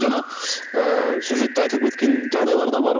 жаңа ыыы сюжетте айтылып кеткен жағдайлар да бар